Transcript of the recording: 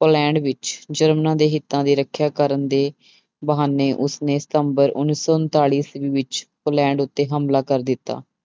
Poland ਵਿੱਚ ਜਰਮਨਾਂ ਦੇ ਹਿੱਤਾਂ ਦੀ ਰੱਖਿਆ ਕਰਨ ਦੇ ਬਹਾਨੇ ਉਸਨੇ ਸਤੰਬਰ ਉੱਨੀ ਸੌ ਉਣਤਾਲੀ ਈਸਵੀ ਵਿੱਚ ਪੋਲੈਂਡ ਉੱਤੇ ਹਮਲਾ ਕਰ ਦਿੱਤਾ।